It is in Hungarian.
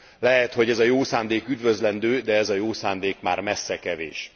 Lehet, hogy ez a jó szándék üdvözlendő, de ez a jó szándék már messze kevés.